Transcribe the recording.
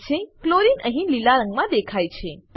chlorine chlorine અહીં લીલા રંગમાં દેખાય છે